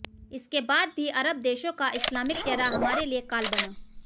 इसके बाद भी अरब देशों का इस्लामिक चेहरा हमारे लिए काल बना